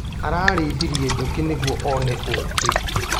Ararĩithirie njũkĩ nĩguo one ũkĩ.